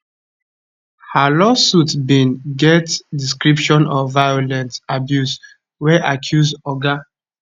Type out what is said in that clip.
her lawsuit bin get description of violent abuse wey accuse oga